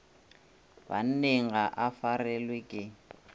banneng ga e farelwe ke